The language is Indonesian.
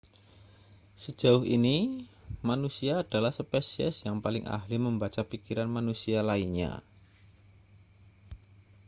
sejauh ini manusia adalah spesies yang paling ahli membaca pikiran manusia lainnya